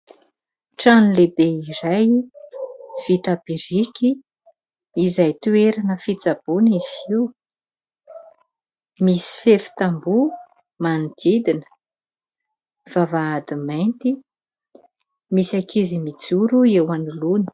Trano lehibe iray vita biriky izay toerana fitsaboana izy io. Misy fefy tamboho manodidina, vavahady mainty. Misy ankizy mijoro eo anoloany.